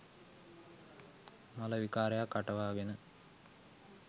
මල විකාරයක් අටවාගෙන